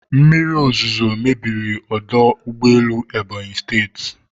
Mmiri ozuzo mebiri ọdọ ụgbọelu Ebonyi State